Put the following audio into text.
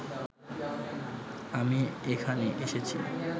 আমি এখানে এসেছি